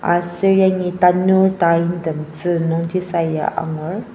aser yangi tanur taintem tzü nungji saya angur.